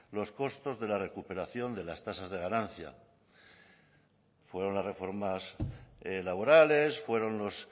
los costos de la recuperación de las tasas de ganancia fueron las reformas laborales fueron los